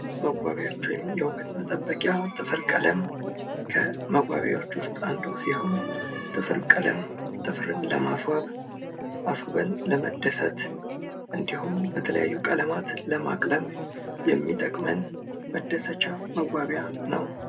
መዋቢያዎች ወይም የዉበት መጠበቂያዎች ጥፍር ቀለም ከመዋቢያዎች እንዱ ሲሆን ጥፍር ቀለም ጥፍርን ለማስዋብ ፣ ኣስዉበን ለመደስት እንዲሁም በተያዩ ቀለማት ለማቅለም የሚተቅመን የቀለም አይነት ነው።